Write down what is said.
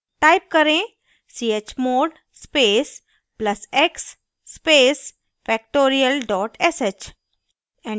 type करें: chmod space plus x space factorial dot sh